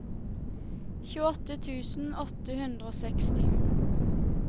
tjueåtte tusen åtte hundre og seksti